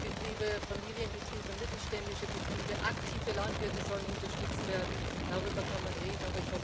Kleine Betriebe, Familienbetriebe, mittelständische Betriebe, aktive Landwirte sollen unterstützt werden darüber kann man reden.